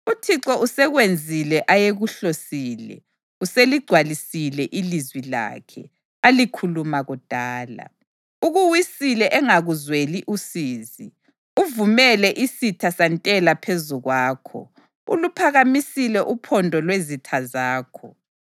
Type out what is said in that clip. UThixo usekwenzile ayekuhlosile; useligcwalisile ilizwi lakhe, alikhuluma kudala. Ukuwisile engakuzweli usizi, uvumele isitha santela phezu kwakho, uluphakamisile uphondo lwezitha zakho.